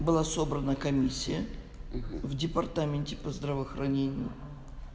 было собрано комиссия в департаменте по здравоохранению